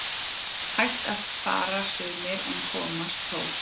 Hægt fara sumir en komast þó